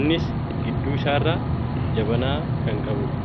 Innis gidduu isaarraa jabanaa kan qabudha.